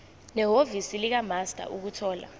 nehhovisi likamaster ukuthola